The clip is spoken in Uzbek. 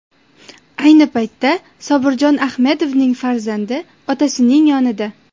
Ayni vaqtda Sobirjon Ahmedovning farzandi otasining yonida.